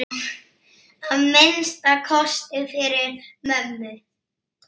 Að minnsta kosti fyrir mömmu.